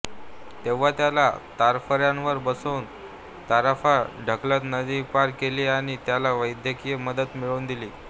तेव्हा त्याला तराफ्यावर बसवून तराफा ढकलत नदी पार केली आणि त्याला वैद्यकीय मदत मिळवून दिली